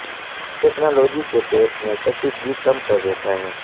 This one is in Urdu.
اس ٹیکنالوجی کے پیٹ میں کشیدگی کم کر دیتا ہے